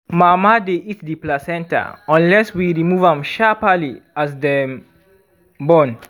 mama dy eat the placenta unless we remove am sharparly as dem born